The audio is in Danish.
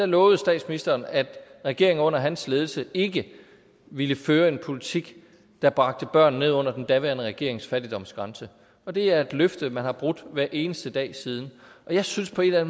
lovede statsministeren at regeringen under hans ledelse ikke ville føre en politik der bragte børn ned under den daværende regerings fattigdomsgrænse det er et løfte man har brudt hver eneste dag siden jeg synes på en eller